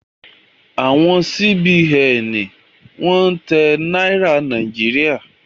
Awọn Sí-Bi-Ẹ̀n ni wọ́n ń tẹ Náírà Nàíjíríà.